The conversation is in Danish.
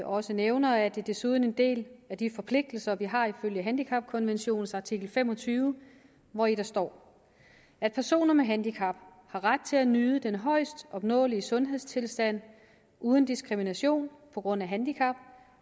også nævner er det desuden en del af de forpligtelser vi har ifølge handicapkonventionens artikel fem og tyve hvori der står at personer med handicap har ret til at nyde den højest opnåelige sundhedstilstand uden diskrimination på grund af handicap